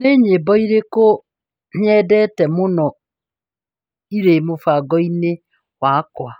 Nĩ nyĩmbo irĩkũ iria nyendete mũno ci mũbango-inĩ wakwa?